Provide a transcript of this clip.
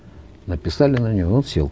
написали на него он сел